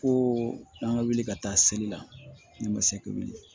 Ko an ka wuli ka taa seli la ne ma se ka wuli